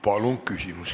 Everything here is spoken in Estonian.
Palun küsimust!